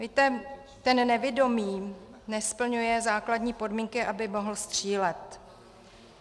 Víte, ten nevidomý nesplňuje základní podmínky, aby mohl střílet.